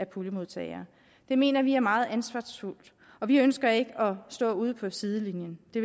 puljemodtager det mener vi er meget ansvarsfuldt og vi ønsker ikke stå ude på sidelinjen det